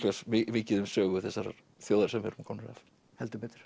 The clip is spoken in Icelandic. mikið um sögu þessarar þjóðar sem við erum komnir af heldur betur